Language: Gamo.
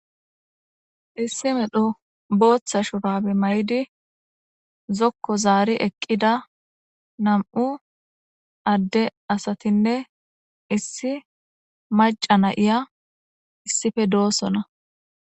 Issi medho booththa shurabe mayidi zokko zaari eqqida nam7u adde asatinne issi maca na7iya issife doossona.